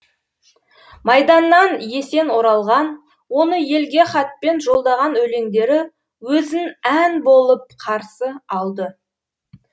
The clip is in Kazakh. майданнан есен оралған оны елге хатпен жолдаған өлеңдері өзін ән болып қарсы алды